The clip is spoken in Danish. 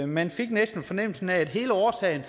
man fik næsten fornemmelsen af at hele årsagen